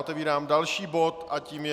Otevírám další bod a tím je